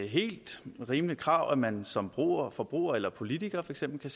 helt rimeligt krav at man som forbruger eller politiker for eksempel